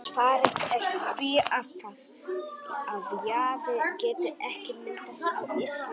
Svarið er því það, að jaði geti ekki myndast á Íslandi.